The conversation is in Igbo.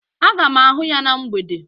Aga m ahụ ya na mgbede